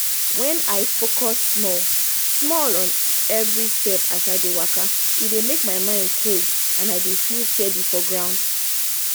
wen i focus small-small on every step as i dey waka e dey make my mind cool and i dey feel steady for ground